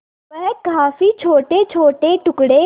वह काफी छोटेछोटे टुकड़े